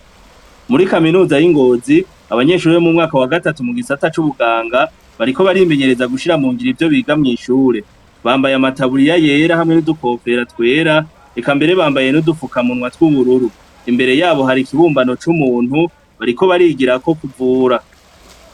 Muri kaminuza yingozi abanyeshure bo mumwaka wa gatatu mugisata cubuganga bariko barimenyereza gushira mungiro ivyo biga mwishure bambaye amataburiya yera nudukofero twera ekabambaye nudufuka munwa twubururu imbere yaho hari ikibumbano cumuntu bariko barigirako kuvura